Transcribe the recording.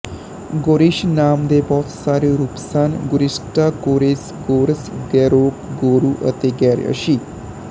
ਗੋਰੀਸ ਨਾਮ ਦੇ ਬਹੁਤ ਸਾਰੇ ਰੂਪ ਸਨ ਗੋਰਿਸਟਾ ਕੋਰੇਸ ਗੋਰਸ ਗੋਰੈਕ ਗੋਰੂ ਅਤੇ ਗੈਰਯਸੀ